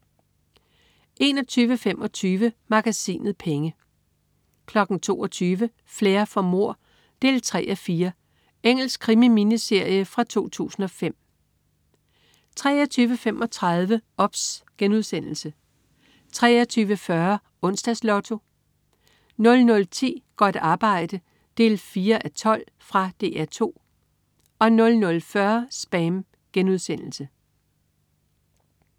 21.25 Magasinet Penge 22.00 Flair for mord 3:4. Engelsk krimi-miniserie fra 2005 23.35 OBS* 23.40 Onsdags Lotto 00.10 Godt arbejde 4:12. Fra DR 2 00.40 SPAM*